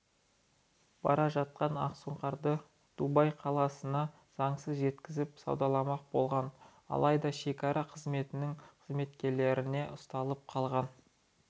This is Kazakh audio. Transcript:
бара жатқан ақсұңқарды дубай қаласына заңсыз жеткізіп саудаламақ болған алайда шекара қызметінің қызметкерлеріне ұсталып қалған